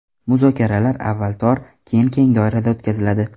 Muzokaralar avval tor, keyin keng doirada o‘tkaziladi.